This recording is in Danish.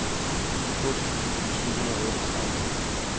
toogtyve tusind syv hundrede og otteogtredive